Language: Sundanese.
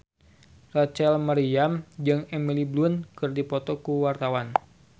Rachel Maryam jeung Emily Blunt keur dipoto ku wartawan